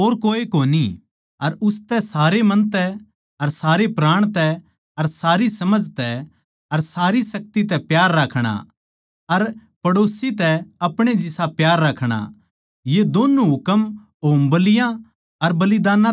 अर उसतै सारे मन तै अर सारे प्राण तै अर सारी समझ तै अर सारी शक्ति तै प्यार राखणा अर पड़ोसी तै आपणे जिसा प्यार राखणा ये दोन्नु हुकम होमबलियाँ अर बलिदानां तै बाध सै